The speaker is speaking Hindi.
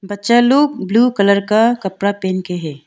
बच्चा लोग ब्ल्यू कलर का कपड़ा पहन के है।